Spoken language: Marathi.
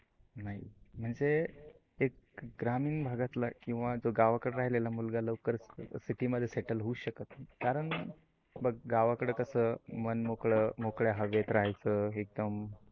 नाही म्हणज, एक ग्रामीण भागातला किवा गावाकड राहिलेला मुलगा लवकर सीटी मध्ये सेटल होऊच शकत नाही. कारण बघ गावाकड कस मनमोकळ मोकळ्या हवेत राहायचं एकदम